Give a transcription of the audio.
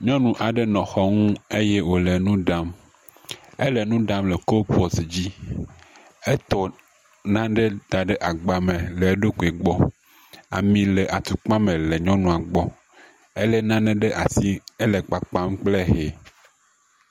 Nyɔnu aɖe nɔ xɔ nu eye wo le nu ɖam. Ele nu ɖam le kolpɔt dzi. Etɔ nane da ɖe agba me le eɖokui gbɔ. Ami le atukpa me le nyɔnua gbɔ. Ele nane ɖe asi ele kpakpam kple hɛ.